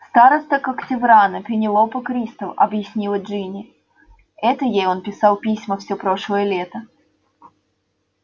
староста когтеврана пенелопа кристал объяснила джинни это ей он писал письма всё прошлое лето